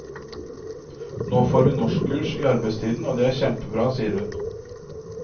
Nå får vi norskkurs i arbeidstiden, og det er kjempebra, sier hun.